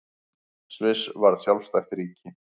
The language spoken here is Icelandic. Sviss varð sjálfstætt ríki.